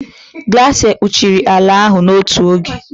glaciers kpuchiri ala ahụ n'otu oge.